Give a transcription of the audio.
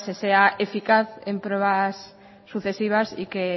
se sea eficaz en pruebas sucesivas y que